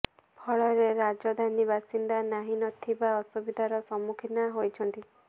ଫଳରେ ରାଜଧାନୀ ବାସିନ୍ଦା ନାହିଁ ନଥିବା ଅସୁବିଧାର ସମ୍ମୁଖୀନ ହୋଇଛନ୍ତି